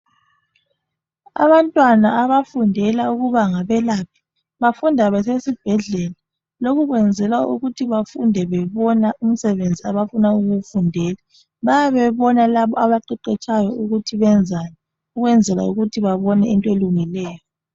Abantwana abafundela ukuba ngabelaphi bafunda besesibhedlela lokhu kwenzelwa ukuthi bafunde bebona umsebenzi abafuna ukuwufundela bayabe bebona labo abaqeqetshayo ukuthi benzani ukwenzela ukuthi babone into elungileyo.